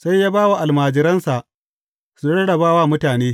Sai ya ba wa almajiransa su rarraba wa mutane.